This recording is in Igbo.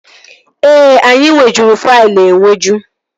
Ee, anyị nwejuru faịlụ enweju